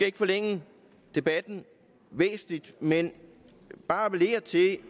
ikke forlænge debatten væsentligt men bare appellere til